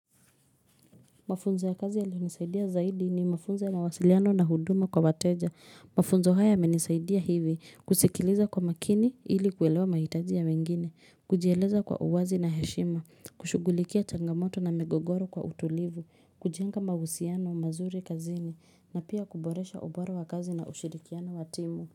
Mafunzo ya kazi yalionisaidia zaidi ni mafunzo ya mawasiliano na huduma kwa wateja. Hhh Mafunzo haya yamenisaidia hivi kusikiliza kwa makini ili kwelewa mahitaji ya wengine. Kujieleza kwa uwazi na heshima. Mhch kushugulikia changamoto na migogoro kwa utulivu. Kujenga mahusiano, mazuri kazini. Hhh na pia kuboresha ubara wa kazi na ushirikiana wa timu.